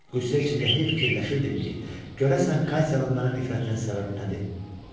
Qüssə içində hey fikirləşirdim ki, görəsən Katyanın mənə nifrətlənməsinə səbəb nədir?